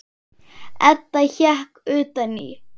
Edda hékk utan í.